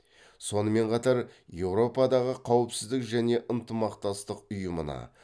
сонымен қатар еуропадағы қауіпсіздік және ынтымақтастық ұйымына